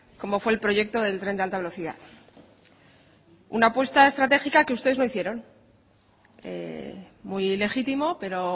como fue el proyecto del tren de alta velocidad una puesta estratégica que ustedes no hicieron muy legítimo pero